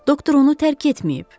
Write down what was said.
Doktor onu tərk etməyib.